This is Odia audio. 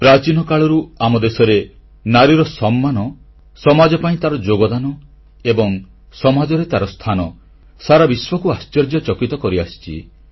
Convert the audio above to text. ପ୍ରାଚୀନ କାଳରୁ ଆମ ଦେଶରେ ନାରୀର ସମ୍ମାନ ସମାଜ ପାଇଁ ତାର ଯୋଗଦାନ ଏବଂ ସମାଜରେ ତାର ସ୍ଥାନ ସାରା ବିଶ୍ୱକୁ ଆଶ୍ଚର୍ଯ୍ୟଚକିତ କରିଆସିଛି